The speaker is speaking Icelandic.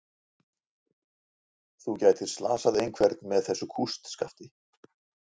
Garðabær, byggð milli hrauns og hlíða.